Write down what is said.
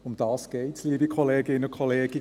Darum geht es, liebe Kolleginnen und Kollegen: